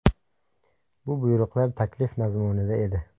Bu buyruqlar taklif mazmunida edi”.